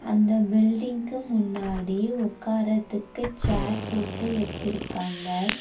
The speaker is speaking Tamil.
அந்த பில்டிங்க்கு முன்னாடி ஒக்கார்ரதுக்கு சேர் போட்டு வச்சிருக்காங்க.